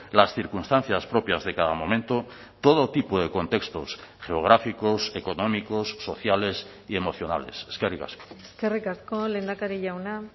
las circunstancias propias de cada momento todo tipo de contextos geográficos económicos sociales y emocionales eskerrik asko eskerrik asko lehendakari jauna